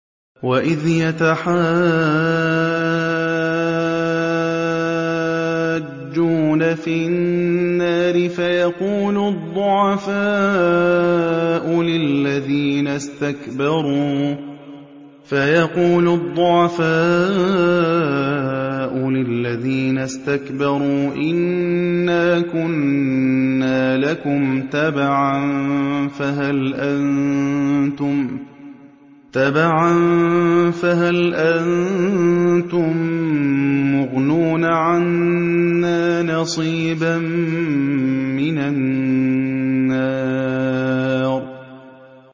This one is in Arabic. وَإِذْ يَتَحَاجُّونَ فِي النَّارِ فَيَقُولُ الضُّعَفَاءُ لِلَّذِينَ اسْتَكْبَرُوا إِنَّا كُنَّا لَكُمْ تَبَعًا فَهَلْ أَنتُم مُّغْنُونَ عَنَّا نَصِيبًا مِّنَ النَّارِ